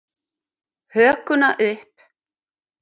Hökuna upp.